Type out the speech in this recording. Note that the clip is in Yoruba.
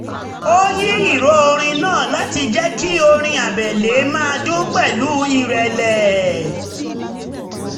ó yín ìró orin náà láti jẹ́ kí orin abẹ́lé máa dun pẹ̀lú ìrẹ̀lẹ̀